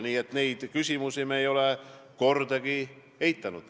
Nii et neid küsimusi ei ole me kordagi eitanud.